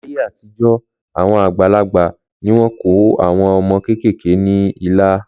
Láyé àtijọ́, àwọn àgbàlagbà ni wọ́n kọ àwọn ọmọ kéékèèké ní ilà